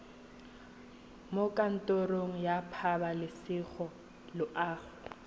mo kantorong ya pabalesego loago